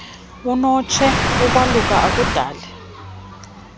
unotshei ukwaluka akudali